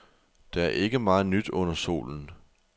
Der er ikke meget nyt under solen.